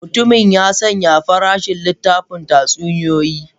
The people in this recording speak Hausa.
Mutumin ya sanya farashin littafin tatsuniyoyi.